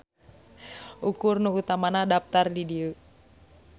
Ukur nu utamana daptar di dieu.